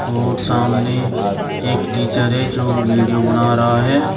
और सामने एक टीचर है जो वीडियो बना रहा है।